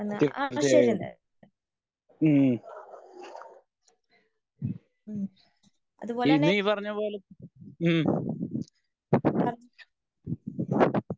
മ്മ്ഹ് പിന്നീ പറഞ്ഞപോലെ മ്മ്ഹ്